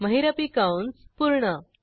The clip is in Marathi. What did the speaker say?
महिरपी कंस पूर्ण